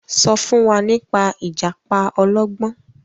so fún wá nípa ìjàpá ọlọgbọn.